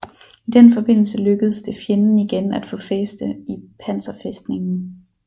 I den forbindelse lykkedes det fjenden igen at få fæste i panserfæstningen